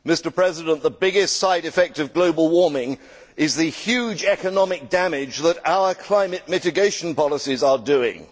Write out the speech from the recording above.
Mr President, the biggest side effect of global warming is the huge economic damage that our climate mitigation policies are doing.